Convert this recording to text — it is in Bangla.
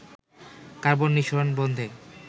কার্বন নি:সরণ বন্ধে